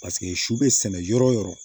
Paseke si bɛ sɛnɛ yɔrɔ o yɔrɔ